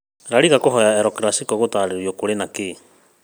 La Liga kũhoya El Clasico gũtĩĩrĩrio- kũrĩ na kĩ?